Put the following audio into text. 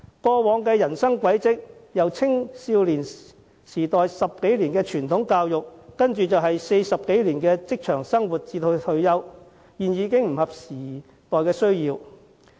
過往的人生軌跡，即青少年在接受10多年傳統教育後投身社會工作40多年至退休的過程，其實已不合時代的需要。